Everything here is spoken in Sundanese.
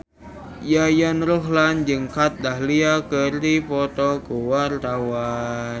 Yayan Ruhlan jeung Kat Dahlia keur dipoto ku wartawan